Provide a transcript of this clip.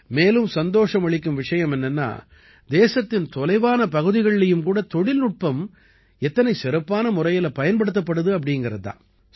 மேலும் சந்தோஷம் அளிக்கும் விஷயம் என்னென்னா தேசத்தின் தொலைவான பகுதிகள்லயும் கூட தொழில்நுட்பம் எத்தனை சிறப்பான முறையில பயன்படுத்தப்படுது அப்படீங்கறது தான்